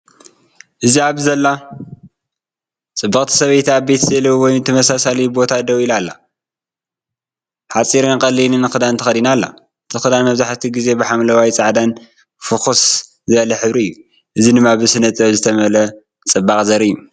እዚ ኣብ ዘላ ጽብቕቲ ሰበይቲ ኣብ ቤተ-ስእሊ ወይ ተመሳሳሊ ቦታ ደው ኢላ ኣላ። ሓጺርን ቀሊልን ክዳን ተኸዲና ኣላ። እቲ ክዳን መብዛሕትኡ ግዜ ብሐምላይን ጻዕዳን/ፍኹስ ዝበለ ሕብሪ እዩ። እዚ ድማ ብስነ ጥበብ ዝተመልአ ጽባቐ ዘርኢ እዩ።